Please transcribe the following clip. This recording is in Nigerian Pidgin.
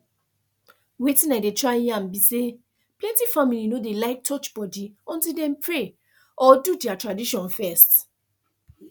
weytin i dey try yarn be say plenty family no dey like touch body until dem pray or do their own tradition first